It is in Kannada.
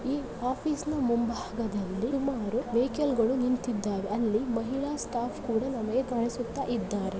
ಈ ಆಫೀಸಿನ ಮುಂಭಾಗದಲ್ಲಿ ಸುಮಾರು ವೆಹಿಕಲ್ಗಳು ನಿಂತಿದ್ದಾವೆ ಅಲ್ಲಿ ಮಹಿಳಾ ಸ್ಟಾಫ್ ಕೂಡ ನಮಗೆ ಕಾಣಿಸುತ್ತಿದ್ದಾರೆ.